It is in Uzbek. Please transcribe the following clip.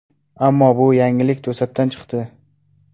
Ammo bu yangilik to‘satdan chiqdi.